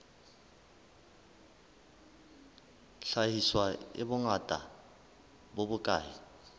hlahiswa e bongata bo bokae